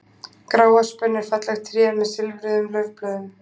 gráöspin er fallegt tré með silfruðum laufblöðum